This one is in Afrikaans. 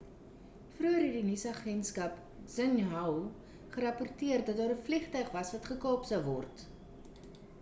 vroeër het die chinese nuusagentskap xinhua gerapporteer dat daar 'n vliegtuig was wat gekaap sou word